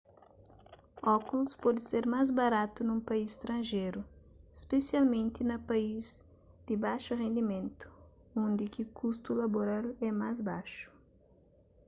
ókulus pode ser más baratu nun país stranjeru spesialmenti na país di baxu rendimentu undi ki kustu laboral é más baxu